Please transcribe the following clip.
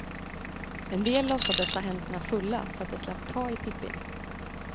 En del låtsades ha händerna fulla, så att de slapp ta i pippin.